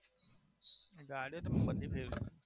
ગાડીઓ તો બધી જ છે